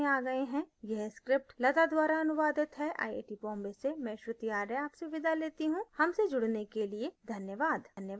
अब हम इस tutorial के अंत में आ गए हैं यह स्क्रिप्ट लता द्वारा अनुवादित है आई आई we बॉम्बे से मैं श्रुति आर्य आपसे विदा लेती हूँ हमसे जुड़ने के लिए धन्यवाद